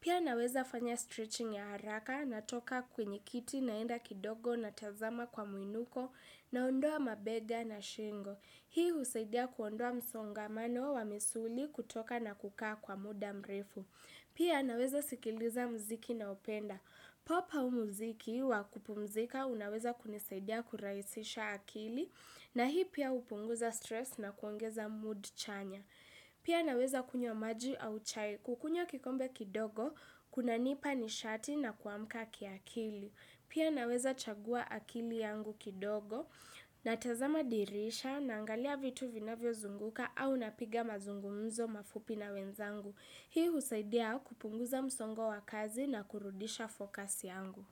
Pia naweza fanya stretching ya haraka natoka kwenye kiti naenda kidogo natazama kwa mwinuko naondoa mabega na shingo. Hii husaidia kuondoa msongamano wa misuli kutoka na kukaa kwa muda mrefu. Pia naweza sikiliza mziki naopenda. Pop au muziki wa kupumzika unaweza kunisaidia kurahisisha akili na hii pia hupunguza stress na kuongeza mood chanya. Pia naweza kunywa maji au chai kukunywa kikombe kidogo kunanipa nishati na kuamka kiakili. Pia naweza chagua akili yangu kidogo natazama dirisha naangalia vitu vinavyo zunguka au napiga mazungumzo mafupi na wenzangu. Hii husaidia kupunguza msongo wa kazi na kurudisha fokasi yangu.